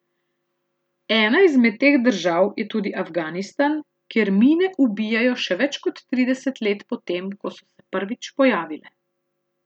Ena izmed teh držav je tudi Afganistan, kjer mine ubijajo še več kot trideset let po tem, ko so se prvič pojavile.